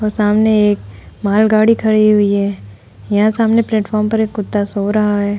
सामने एक माल गाड़ी खड़ी हुई है। यहां सामने प्लेटफार्म पे एक कुत्ता सो रहा है।